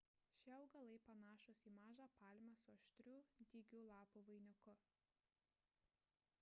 šie augalai panašūs į mažą palmę su aštrių dygių lapų vainiku